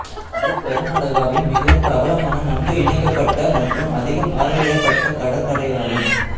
இது கருநாடகாவின் மிகவும் பிரபலமான நன்கு இணைக்கப்பட்ட மற்றும் அதிகம் பார்வையிடப்பட்ட கடற்கரையாகும்